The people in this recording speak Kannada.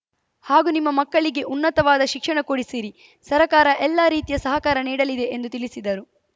ಹಾಗೂ ನಿಮ್ಮ ಮಕ್ಕಳಿಗೆ ಉನ್ನತವಾದ ಶಿಕ್ಷಣ ಕೊಡಿಸಿರಿ ಸರ್ಕಾರ ಎಲ್ಲಾ ರೀತಿಯ ಸಹಕಾರ ನೀಡಲಿದೆ ಎಂದು ತಿಳಿಸಿದರು